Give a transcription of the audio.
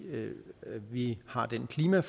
vi har det klima